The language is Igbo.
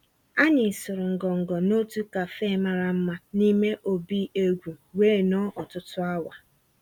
Ànyị́ sụ̀rụ́ ngọngọ́ n'òtù cafe màrà mmá n'ímé òbí égwú wéé nọ̀ọ́ ọ̀tụtụ́ awa.